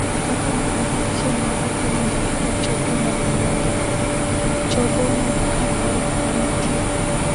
Kaka gimoro achiel ma ok owinjore e choke mag lwedo (chogo mag carpal) nitie.